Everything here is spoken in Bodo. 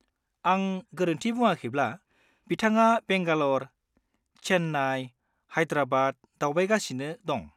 -आं गोरोन्थि बुङाखैब्ला, बिथाङा बेंगालर, चेन्नाइ, हाइद्राबाद दावबायगासिनो दं।